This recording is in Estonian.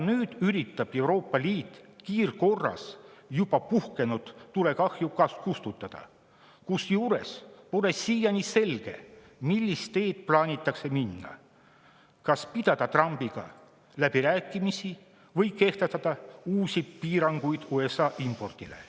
Nüüd üritab Euroopa Liit kiirkorras juba puhkenud tulekahju kustutada, kusjuures pole siiani selge, millist teed plaanitakse minna: kas pidada Trumpiga läbirääkimisi või kehtestada uusi piiranguid USA impordile.